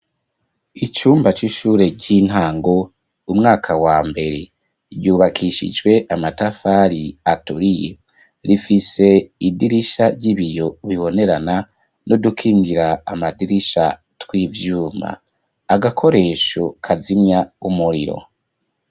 Icumba c'ishure ry'intango, umwaka wa mbere, ryubakishijwe amatafari aturiye. Rifise idirisha ry'ibiyo bibonerana n'udukingira amadirisha tw'ivyuma. Agakoresho kazimya umuriro.